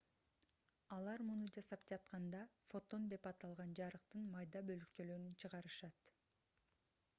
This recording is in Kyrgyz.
алар муну жасап жатканда фотон деп аталган жарыктын майда бөлүкчөлөрүн чыгарышат